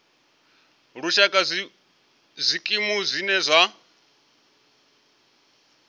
lushaka nga zwikimu zwine zwa